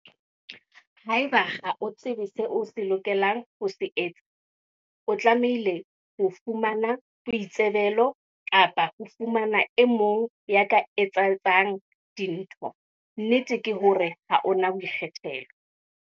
Haeba ha o tsebe seo o lokelang ho se etsa, o tlamehile ho fumana boitsebelo kapa o fumane e mong ya ka o etsetsang dintho. Nnete ke hore ha o na boikgethelo.